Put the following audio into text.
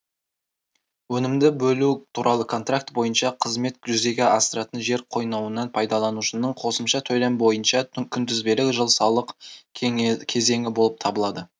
өнімді бөлу туралы контракт бойынша қызметін жүзеге асыратын жер койнауын пайдаланушының қосымша төлем бойынша күнтізбелік жыл салық кезеңі болып табылады